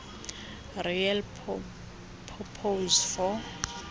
real purpose for